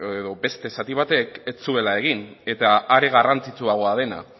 edo beste zati batek ez zuela egin eta are garrantzitsuagoa dena